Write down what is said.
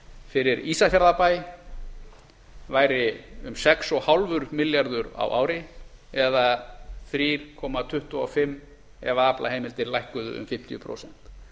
fyrir ísafjarðarbæ væri um sex og hálfur milljarður á ári eða þrjú komma tuttugu og fimm ef aflaheimildir lækkuðu um fimmtíu prósent